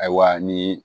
Ayiwa ni